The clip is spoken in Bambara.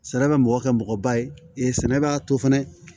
Sɛnɛ bɛ mɔgɔ kɛ mɔgɔba ye sɛnɛ b'a to fɛnɛ